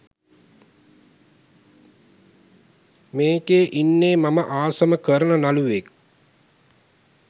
මේකෙ ඉන්නෙ මම ආසම කරන නළුවෙක්.